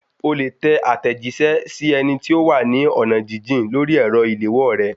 O lè tẹ àtẹ̀jíṣẹ́ sí ẹni tí ó wà ní ọ̀nà jíjìn lórí ẹ̀rọ ìléwọ́ rẹ